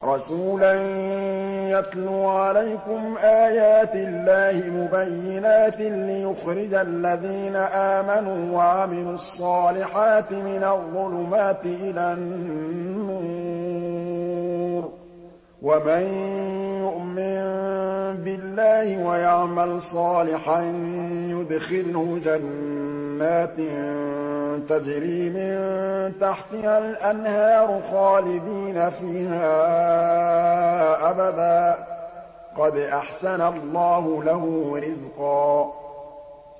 رَّسُولًا يَتْلُو عَلَيْكُمْ آيَاتِ اللَّهِ مُبَيِّنَاتٍ لِّيُخْرِجَ الَّذِينَ آمَنُوا وَعَمِلُوا الصَّالِحَاتِ مِنَ الظُّلُمَاتِ إِلَى النُّورِ ۚ وَمَن يُؤْمِن بِاللَّهِ وَيَعْمَلْ صَالِحًا يُدْخِلْهُ جَنَّاتٍ تَجْرِي مِن تَحْتِهَا الْأَنْهَارُ خَالِدِينَ فِيهَا أَبَدًا ۖ قَدْ أَحْسَنَ اللَّهُ لَهُ رِزْقًا